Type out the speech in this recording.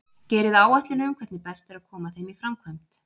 Gerið áætlun um hvernig best er að koma þeim í framkvæmd.